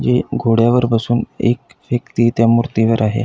हे घोड्यावर बसून एक व्यक्ति त्या मूर्ती वर आहे.